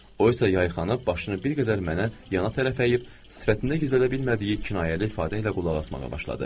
O isə yayxanıb başını bir qədər mənə yana tərəf əyib, sifətində gizlədə bilmədiyi kinayəli ifadə ilə qulaq asmağa başladı.